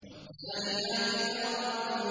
وَالذَّارِيَاتِ ذَرْوًا